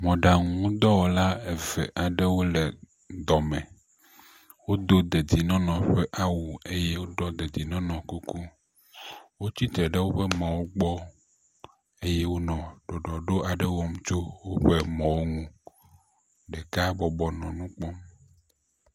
Mɔɖaŋudɔwɔla eve aɖewo le dɔme. Wodo dedienɔnɔ ƒe awu eye woɖɔ dedienɔnɔ ƒe kuku. Wotsi tre ɖe woƒe mɔwo gbɔ eye wonɔ ɖɔɖɔɖo aɖewo wɔm tso woƒe mɔwo ŋu. Ɖeka bɔbɔ nɔ nu kpɔm.